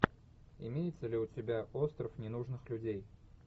имеется ли у тебя остров ненужных людей